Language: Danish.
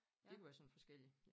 Det kan være sådan forskellig